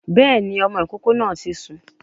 Béèni, ọmọ ìkókó náà ti sùn